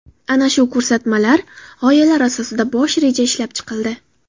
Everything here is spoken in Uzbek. Ana shu ko‘rsatmalar, g‘oyalar asosida bosh reja ishlab chiqildi.